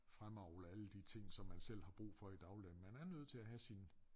Fremavle alle de ting som man selv har brug for i dagligdagen. Man er nødt til at have sin